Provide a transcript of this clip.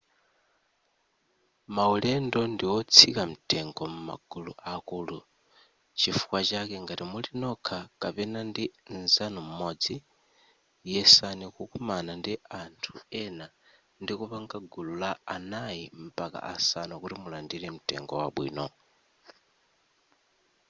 maulendo ndiotsika mtengo m'magulu akulu chifukwa chake ngati muli nokha kapena ndi nzanu m'modzi yesani kukumana ndi anthu ena ndikupanga gulu la anayi mpaka asanu kuti mulandire mtengo wabwino